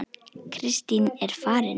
Kristín er farin